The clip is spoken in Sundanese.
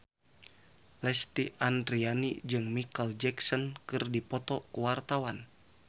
Lesti Andryani jeung Micheal Jackson keur dipoto ku wartawan